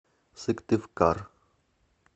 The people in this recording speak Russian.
сыктывкар